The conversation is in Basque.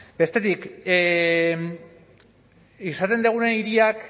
bestetik esaten duguna hiriak